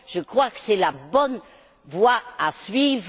Je crois que c'est la bonne voie à suivre.